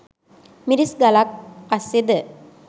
මිරිස් ගලක් අස්සෙද